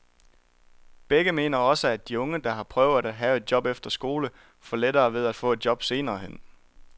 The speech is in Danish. Begge mener også, at de unge, der har prøvet at have et job efter skole, får lettere ved at få et job senere hen.